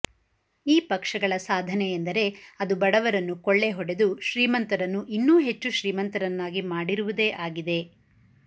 ಈ ಪಕ್ಷಗಳ ಸಾಧನೆ ಎಂದರೆ ಅದು ಬಡವರನ್ನು ಕೊಳ್ಳೆ ಹೊಡೆದು ಶ್ರೀಮಂತರನ್ನು ಇನ್ನೂ ಹೆಚ್ಚು ಶ್ರೀಮಂತರನ್ನಾಗಿ ಮಾಡಿರುವುದೇ ಆಗಿದೆ